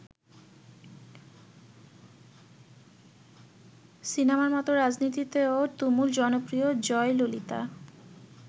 সিনেমার মত রাজনীতিতেও তুমুল জনপ্রিয় জয়ললিতা।